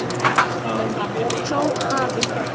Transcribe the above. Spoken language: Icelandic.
Þó hafi